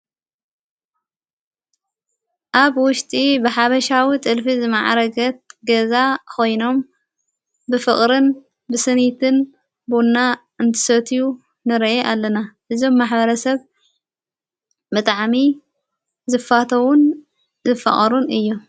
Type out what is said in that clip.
ኣብ ውሽጢ ብሓበሻዊ ጥልፊ ዝመዓረገት ገዛ ኾይኖም ብፍቕርን ብስኒትን ብኡና እንትሰትዩ ንረየ ኣለና እዞም ማኅበረሰብ መጥዓሚ ዘፋተዉን ዝፍቐሩን እዮ።